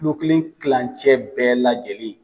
Kulo kelen klancɛ bɛɛ lajɛlen.